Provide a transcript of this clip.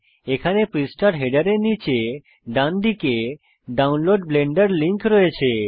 এখানে পৃষ্ঠার হেডারের নীচে ডানদিকে ডাউনলোড ব্লেন্ডার লিংক রয়েছে